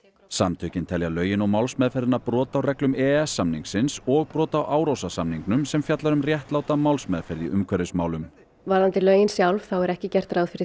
samtökin telja lögin og málsmeðferðina brot á reglum e e s samningsins og brot á Árósasamningnum sem fjallar um réttláta málsmeðferð í umhverfismálum varðandi lögin sjálf þá er ekki gert ráð fyrir